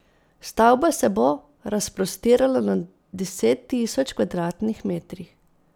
Stavba se bo razprostirala na deset tisoč kvadratnih metrih.